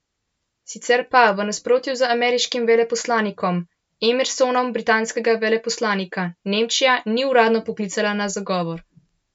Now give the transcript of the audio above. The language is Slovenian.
Sicer pa v nasprotju z ameriškim veleposlanikom Emersonom britanskega veleposlanika Nemčija ni uradno poklicala na zagovor.